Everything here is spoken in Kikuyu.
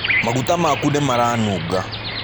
Maguta maku nĩ maranunga.